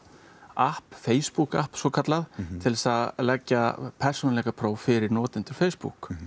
app Facebook app svokallað til að leggja persónuleikapróf fyrir notendur Facebook